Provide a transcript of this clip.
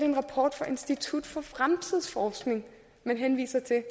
en rapport fra instituttet for fremtidsforskning man henviser til